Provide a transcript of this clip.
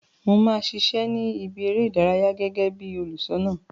Mo ma ṣiṣẹ ni ìbí eré ìdárayá gẹgẹ bí olùṣọna.